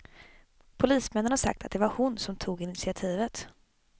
Polismännen har sagt att det var hon som tog initiativet.